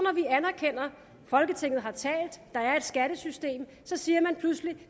anerkender at folketinget har talt at der er et skattesystem så siger man pludselig